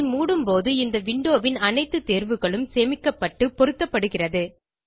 இதை மூடும் போது இந்த விண்டோ ன் அனைத்து தேர்வுகளும் சேமிக்கப்பட்டு பொருத்தப்படுகிறது